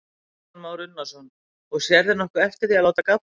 Kristján Már Unnarsson: Og sérðu nokkuð eftir því að láta gabbast?